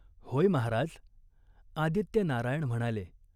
"होय महाराज," आदित्यनारायण म्हणाले.